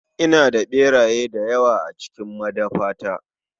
Ina da ɓeraye dayawa a cikin madafata.